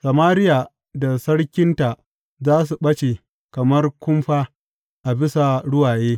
Samariya da sarkinta za su ɓace kamar kumfa a bisa ruwaye.